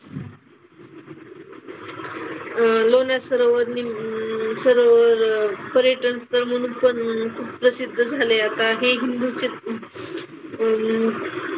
अह लोणार सरोवर नि सरोवर पर्यटनस्थळ म्हणून पण खूप प्रसिद्ध झालंय. काही हिंदूंचे पण,